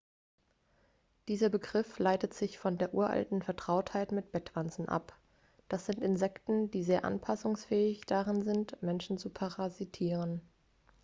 dieser begriff leitet sich von der uralten vertrautheit mit bettwanzen ab das sind insekten die sehr anpassungsfähig darin sind menschen zu parasitieren